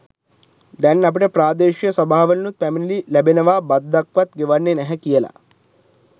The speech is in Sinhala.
දැන් අපිට ප්‍රාදේශීය සභාවලිනුත් පැමිණිලි ලැබෙනවා බද්දක්වත් ගෙවන්නේ නැහැ කියලා.